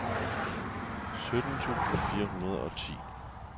sytten tusind fire hundrede og ti